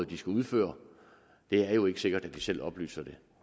de skal udføre det er jo ikke sikkert at de selv oplyser det